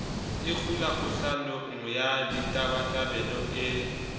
ikgula kgohlanong ya ditabatabelo e